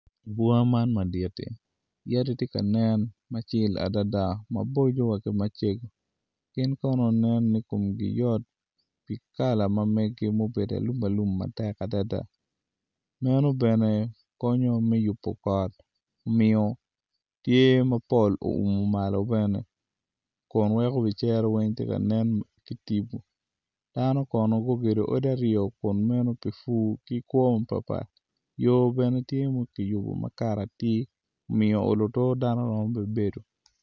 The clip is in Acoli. Bunga man madit adada ni yadi tye ka nen macego ki maboco gin kono nen ni komgi yot i kala ma megi ma obedo alum alum matek adada meno bene konyo me yubo kot omiyo tye ma pol oumo malo bene.